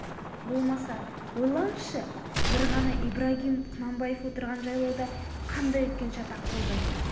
болмаса ойлаңызшы бір ғана ибрагим құнанбаев отырған жайлауда қандай үлкен шатақ болды